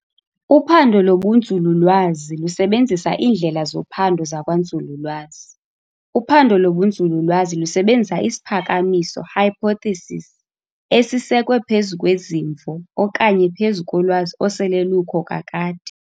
Uphando lobunzululwazi lusebenzisa iindlela zophando zakwanzululwazi. uphando lobunzululwazi lusebenzisa isiphakamiso, hypotheses, esisekwe phezu kwezimvo okanye phezu kolwazi osele lukho kakade.